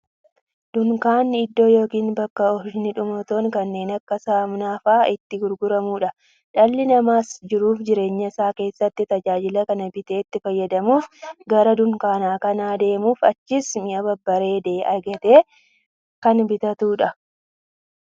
Dunkaanni iddoo yookiin bakka oomishni dhumatoon kanneen akka saamunaa faa'a itti gurguramuudha. Dhalli namaas jiruuf jireenya isaa keessatti, tajaajila kana bitee itti fayyadamuuf, gara dunkaanaa kan deemuufi achiis mi'a barbaade argatee kan bitatuudha.